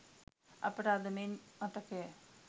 අපට අද මෙන් මතකය.